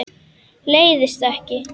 Leiðist ekki.